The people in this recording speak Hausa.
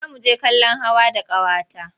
Za mu je kallon hawa da ƙawata.